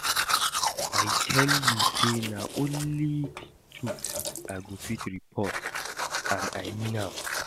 I tell you say na only the truth I go fit report and I mean am